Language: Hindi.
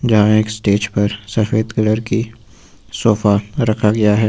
यहां एक स्टेज पर सफेद कलर की सोफा रखा गया है।